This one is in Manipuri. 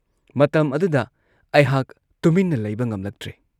ꯃꯇꯝ ꯑꯗꯨꯗ ꯑꯩꯍꯥꯛ ꯇꯨꯃꯤꯟꯅ ꯂꯩꯕ ꯉꯝꯂꯛꯇ꯭ꯔꯦ ꯫